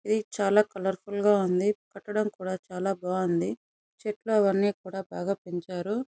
ఇది చాల కాలేర్ఫుల్ గ ఉంది. కట్టడం కూడా బాగుంది. చెట్లు అవన్నీ కూడా బాగా పెంచారు.